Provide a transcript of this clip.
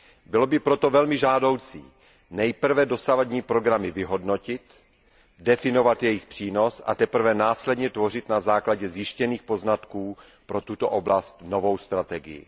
Bylo by proto velmi žádoucí nejprve dosavadní programy vyhodnotit, definovat jejich přínos, a teprve následně tvořit na základě zjištěných poznatků pro tuto oblast novou strategii.